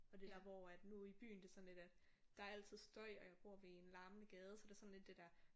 Og det der hvor at nu i byen det sådan lidt er der er altid støj og jeg bor ved en larmende gade så det er sådan lidt det der